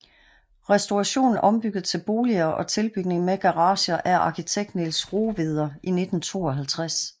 Restauration ombygget til boliger og tilbygning med garager af arkitekt Niels Rohweder i 1952